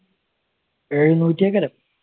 എഴുന്നൂഒറ്റി ഒക്കെ